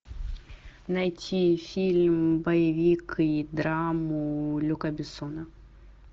найти фильм боевик и драму люка бессона